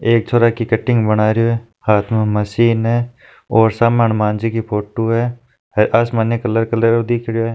एक छोरा की कटिंग बनारियो है हाथ में मशीन है और सामान हडमान जी की फोटो है कलर कलर दिख रहियो है।